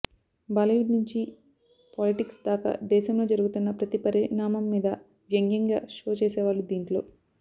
Bollywood నుంచి politics దాకా దేశంలో జరుగుతున్న ప్రతి పరిణామం మీద వ్యంగ్యంగా షో చేసేవాళ్లు దీంట్లో